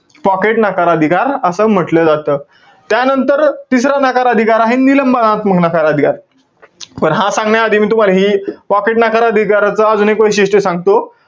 Pocket नकार अधिकार, असं म्हंटल जातं. त्यानंतर, तिसरा नकार अधिकार आहे, निलंबनात्मक नकार अधिकार. पण हा सांगण्याआधी मी तुम्हाला हे, pocket नकार अधिकाराचं अजून एक वैशिष्ट्य सांगतो.